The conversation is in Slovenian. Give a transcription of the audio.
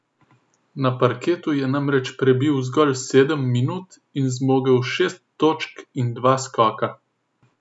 Na parketu je namreč prebil zgolj sedem minut in zmogel šest točk in dva skoka.